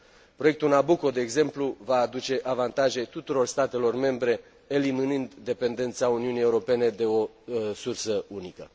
Proiectul Nabucco, de exemplu, va aduce avantaje tuturor statelor membre eliminând dependența Uniunii Europene de o sursă unică.